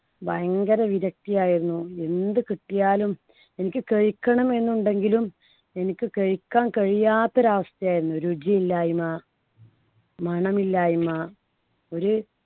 ഭയങ്കര വിരക്തി ആയിരുന്നു. എന്ത് കിട്ടിയാലും എനിക്ക് കഴിക്കണം എന്നുണ്ടെങ്കിലും എനിക്ക് കഴിക്കാൻ കഴിയാത്ത ഒരു അവസ്ഥയായിരുന്നു. രുചിയില്ലായ്മ മണമില്ലായ്മ ഒരു